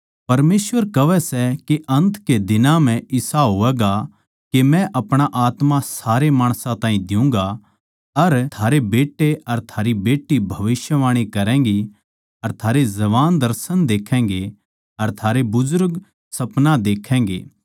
परमेसवर कहवै सै के अन्त के दिनां म्ह इसा होवैगा के मै अपणा आत्मा सारे माणसां ताहीं दियुँगा अर थारे बेट्टे अर थारी बेट्टी भविष्यवाणी करैगी अर थारे जवान दर्शन देखैगें अर थारे बुजुर्ग सपना देक्खैगें